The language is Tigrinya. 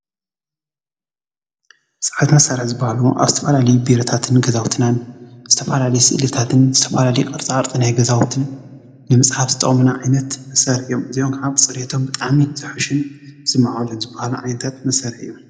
ዓይነታ መሳርሒ ኣብ ዝተፈላለዩ ቢሮታትን ገዛውትን ዝተፈላለዩ ስእልታትን ዝተፈላለዩ ቅፃቅርፅታትን ንምፅሓፍ ዝጠቅሙና እዚኦም ከዓ ብፅሬቶም ብጣዕሚ ዝሓሹን ዝማዕበሉን ዝበሃሉ ዓይነታት መሳሪሒ እዮም።